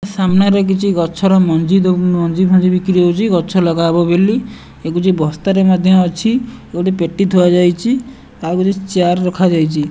ସାମ୍ନାରେ କିଛି ଗଛର ମଞ୍ଜି ଦୋ ମଞ୍ଜିଫଞ୍ଜି ବିକ୍ରି ହଉଛି ଗଛ ଲଗାହେବ ବୋଲି ୟାକୁ ଯିଏ ବସ୍ତାରେ ମଧ୍ୟ ଅଛି ଗୋଟେ ପେଟି ଥୁଆ ଯାଇଛି ତା ଉପରେ ଚେୟାର ରଖାଯାଇଛି।